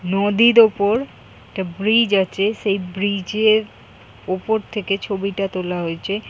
নদীর ওপর একটা ব্রিজ আছে সেই ব্রিজ এর উপর থেকে ছবিটা তোলা হয়েছে।